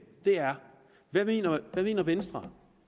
er hvad mener venstre